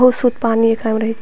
बहुत सुत पानी एकरा म रहे।